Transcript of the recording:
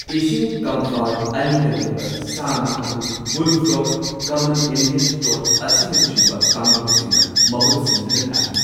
ꯏꯁꯤꯡ ꯀꯪꯐꯥꯜ ꯑꯅꯤꯗ ꯂꯩꯕ ꯁꯥ ꯉꯥ ꯑꯗꯨ ꯕꯨꯜꯐ꯭ꯔꯣꯒ, ꯀꯃꯟ ꯏꯟꯗꯤꯌꯟ ꯇꯣꯗ ꯑꯁꯤꯅꯆꯤꯡꯕ ꯀꯥꯡꯂꯨꯞꯁꯤꯡꯅ ꯃꯍꯨꯠ ꯁꯤꯟꯗꯨꯅ ꯇꯥꯛꯏ꯫